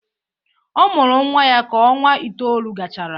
Ọ mụrụ nnwa ya ka ọnwa itoolu gachara.